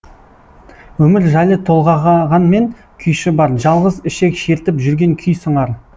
өмір жайлы толғағанмен күйші бар жалғыз ішек шертіп жүрген күй сыңар